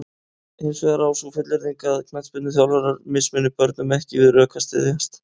Hins vegar á sú fullyrðing að knattspyrnuþjálfarar mismuni börnum ekki við rök að styðjast.